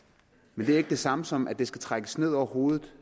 men det er ikke det samme som at det skal trækkes ned over hovedet